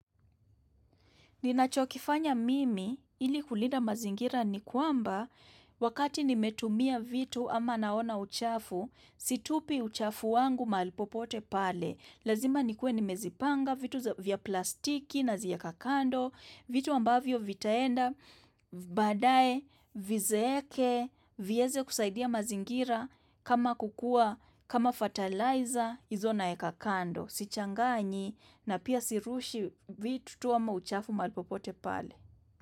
Ninachokifanya mimi ili kulida mazingira ni kwamba wakati nimetumia vitu ama naona uchafu, situpi uchafu wangu mali popote pale. Lazima nikue nimezipanga vitu vya plastiki na ziaka kando, vitu ambavyo vitaenda, baadae, vizeeke, vieze kusaidia mazingira kama kukua, kama fatalizer, izo naeka kando. Sichangani na pia sirushi vitu tuwa mauchafu mali popote pale.